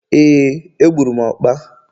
Éè, egburu m ọkpa